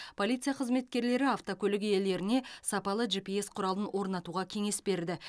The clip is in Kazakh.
полиция қызметкерлері автокөлік иелеріне сапалы жипиэс құралын орнатуға кеңес берді